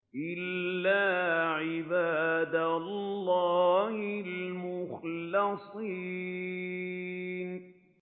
إِلَّا عِبَادَ اللَّهِ الْمُخْلَصِينَ